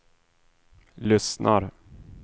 lyssnar